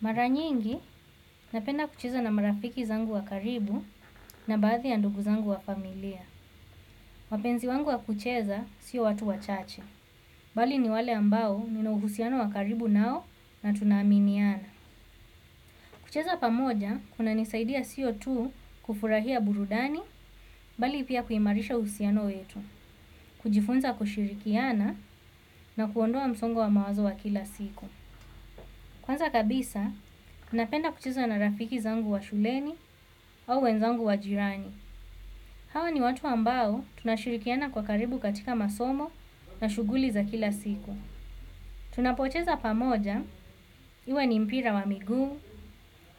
Mara nyingi, napenda kucheza na marafiki zangu wa karibu na baadhi ya ndugu zangu wa familia. Wapenzi wangu wa kucheza sio watu wachache. Bali ni wale ambao nina uhusiano wa karibu nao na tunaaminiana. Kucheza pamoja, kuna nisaidia sio tu kufurahia burudani, bali pia kuimarisha uhusiano wetu. Kujifunza kushirikiana na kuondoa msongo wa mawazo wa kila siku. Kwanza kabisa, napenda kucheza na rafiki zangu wa shuleni, au wenzangu wa jirani. Hawa ni watu ambao tunashirikiana kwa karibu katika masomo na shughuli za kila siku. Tunapocheza pamoja, iwe ni mpira wa miguu,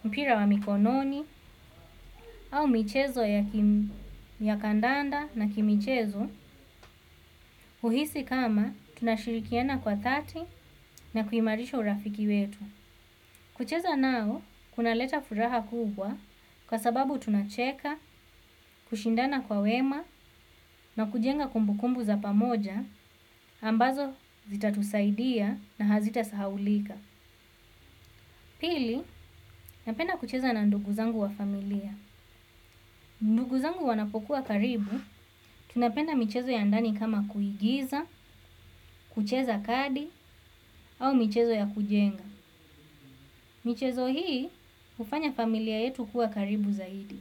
mpira wa mikononi, au michezo ya kandanda na kimichezo, huhisi kama tunashirikiana kwa dhati na kuimarisha urafiki wetu. Kucheza nao, kunaleta furaha kubwa, kwa sababu tunacheka, kushindana kwa wema na kujenga kumbukumbu za pamoja ambazo zitatusaidia na hazita sahaulika. Pili, napenda kucheza na ndugu zangu wa familia. Ndugu zangu wanapokuwa karibu, tunapenda michezo ya ndani kama kuigiza, kucheza kadi au michezo ya kujenga. Michezo hii, hufanya familia yetu kuwa karibu zaidi.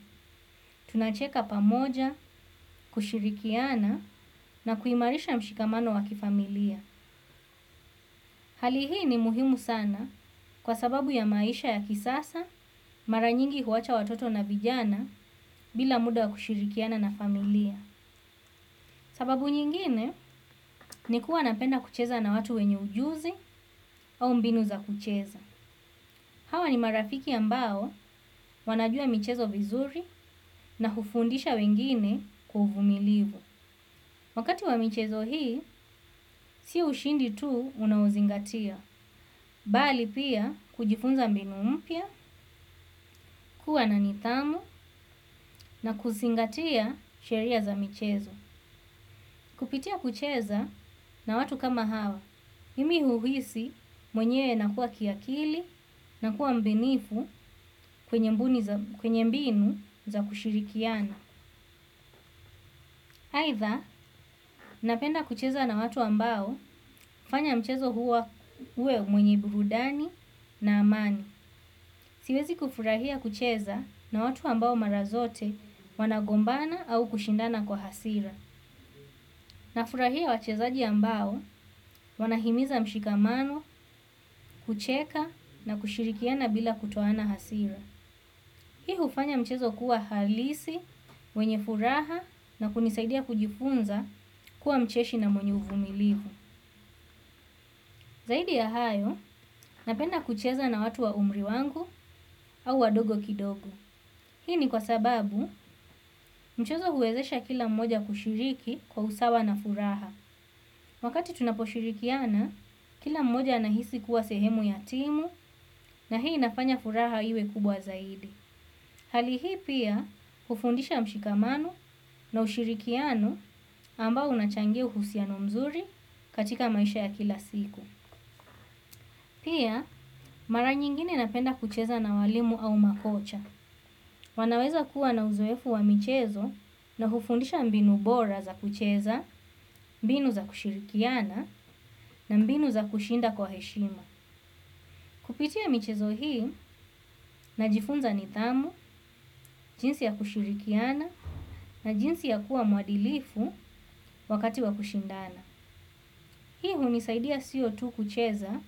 Tunacheka pamoja, kushirikiana na kuimarisha mshikamano wa kifamilia. Hali hii ni muhimu sana kwa sababu ya maisha ya kisasa. Mara nyingi huwacha watoto na vijana bila muda wa kushirikiana na familia. Sababu nyingine ni kuwa napenda kucheza na watu wenye ujuzi au mbinu za kucheza. Hawa ni marafiki ambao wanajua michezo vizuri na hufundisha wengine kwa uvumilivu. Wakati wa michezo hii si ushindi tu unaozingatia bali pia kujifunza mbinu mpya, kuwa na nidhamu na kuzingatia sheria za michezo. Kupitia kucheza na watu kama hawa mimi huhisi mwenye nakuwa kiakili nakuwa mbunifu kwenye mbinu za kushirikiana aidha napenda kucheza na watu ambao hufanya mchezo uwe mwenye burudani na amani. Siwezi kufurahia kucheza na watu ambao mara zote wanagombana au kushindana kwa hasira. Nafurahia wachezaji ambao wanahimiza mshikamano kucheka na kushirikiana bila kutoana hasira. Hii hufanya mchezo kuwa halisi, wenye furaha na kunisaidia kujifunza kuwa mcheshi na mwenye uvumilivu. Zaidi ya hayo, napenda kucheza na watu wa umri wangu au wadogo kidogo. Hii ni kwa sababu mchezo huwezesha kila mmoja kushiriki kwa usawa na furaha. Wakati tunaposhirikiana, kila mmoja anahisi kuwa sehemu ya timu na hii inafanya furaha iwe kubwa zaidi. Hali hii pia hufundisha mshikamano na ushirikiano ambao unachangia uhusiano mzuri katika maisha ya kila siku. Pia mara nyingine napenda kucheza na walimu au makocha. Wanaweza kuwa na uzoefu wa michezo na hufundisha mbinu bora za kucheza, mbinu za kushirikiana na mbinu za kushinda kwa heshima. Kupitia michezo hii najifunza nidhamu, jinsi ya kushirikiana na jinsi ya kuwa mwadilifu wakati wa kushindana. Hii hunisaidia sio tu kucheza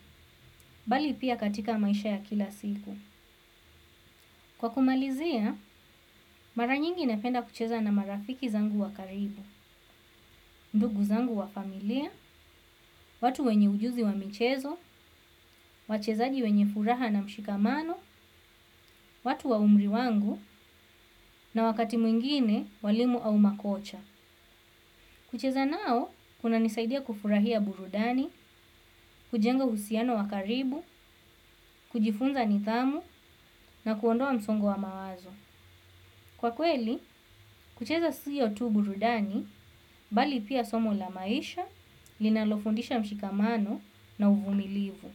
bali pia katika maisha ya kila siku. Kwa kumalizia mara nyingi napenda kucheza na marafiki zangu wa karibu ndugu zangu wa familia watu wenye ujuzi wa michezo wachezaji wenye furaha na mshikamano watu wa umri wangu na wakati mwingine walimu au makocha. Kucheza nao, kunanisaidia kufurahia burudani, kujenga uhusiano wa karibu, kujifunza nidhamu na kuondoa msongo wa mawazo. Kwa kweli kucheza sio tu burudani bali pia somo la maisha linalofundisha mshikamano na uvumilivu.